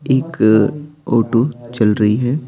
एक ऑटो चल रही है।